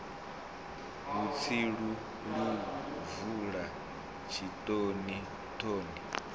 vhutsilu lu bvula tshitoni thoni